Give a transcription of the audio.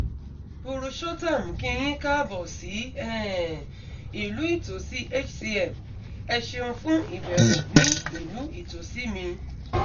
purushottam kí yín kaabọ̀ sí um ìlú ìtòsí hcm! ẹ ṣéun fún ìbẹ̀wò ní ìlú ìtòsí mi